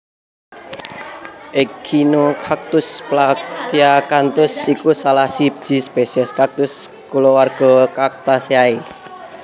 Echinocactus platyacanthus iku salah siji spesies kaktus kulawarga Cactaceae